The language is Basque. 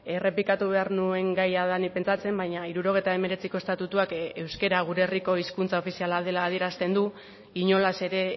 errepikatu behar nuen gaia denik pentsatzen baina hirurogeita hemeretziko estatutuak euskara gure herriko hizkuntza ofiziala dela adierazten du inolaz ere